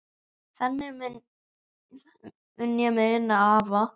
Þannig mun ég muna afa.